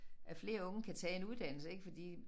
At flere unge kan tage en uddannelse ik fordi